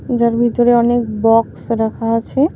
যার ভিতরে অনেক বক্স রাখা আছে।